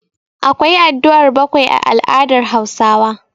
Akwa addu'ar bakwai a al'adar Hausawa.